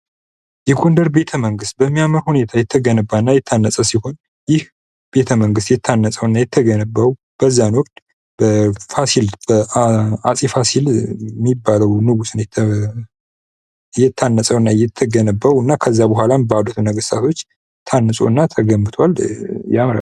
የጎንደር ቤተ መንግት በሚያምር ሁኔታ የተገነባና የታነጸ ሲሆን ይህ ቤተመንግስት ታንጸውና የተገነባው በፋሲል በአጼፋሲል የሚባለው ንጉስ ነው የታነጸውና የተገነባው እና ከዛ በኋላም ባለፉት ነገስታቶች ታንጾና ተገምብቷል።